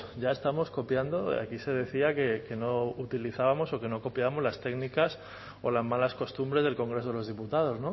ya estamos copiando aquí se decía que no utilizábamos o que no copiábamos las técnicas o las malas costumbres del congreso de los diputados